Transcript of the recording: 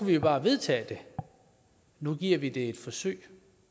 vi jo bare vedtage det nu giver vi det et forsøg